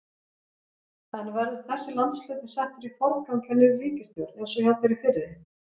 En verður þessi landshluti settur í forgang hjá nýrri ríkisstjórn eins og hjá þeirri fyrri?